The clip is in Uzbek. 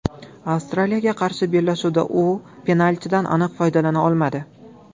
Avstriyaga qarshi bellashuvda u penaltidan aniq foydalana olmadi.